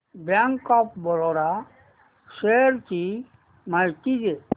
bank of Baroda shares ची माहिती दे